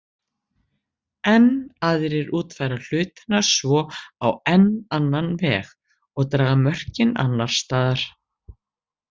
Enn aðrir útfæra hlutina svo á enn annan veg og draga mörkin annars staðar.